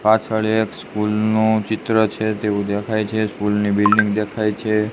પાછળ એક સ્કૂલ નું ચિત્ર છે તેવું દેખાય છે સ્કૂલ ની બિલ્ડીંગ દેખાય છે.